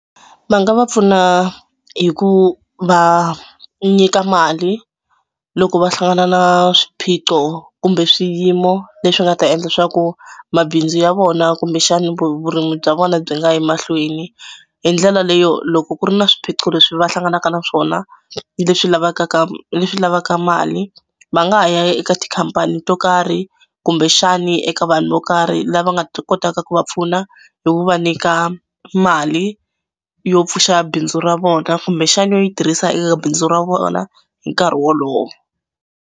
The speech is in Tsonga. Va nga va pfuna hi ku va nyika mali loko va hlangana na swiphiqo kumbe swiyimo leswi nga ta endla swa ku mabindzu ya vona kumbexani vurimi bya vona byi nga yi mahlweni. Hi ndlela leyo loko ku ri na swiphiqo leswi va hlanganaka na swona leswi leswi lavaka mali va nga ha ya eka tikhampani to karhi kumbexani eka vanhu vo karhi lava nga ta kotaka ku va pfuna hi ku va nyika mali yo pfuxa bindzu ra vona kumbexani yo yi tirhisa eka bindzu ra vona hi nkarhi wolowo.